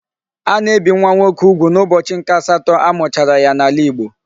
A na-ebi nwa nwoke ugwu n'ubochi nke asato a muchara ya n'ala igbo